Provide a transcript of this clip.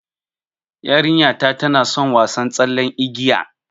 Yarinta tana son wasa tsallen igiya